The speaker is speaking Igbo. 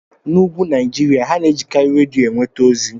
N'úgwù Naijiria, ha na-ejikarị redio enweta ozi.